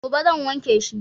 gobe zan wanke shi